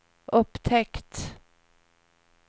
upptäckt